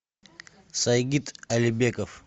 сайгид алибеков